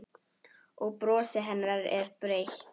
Og brosið hennar er breitt.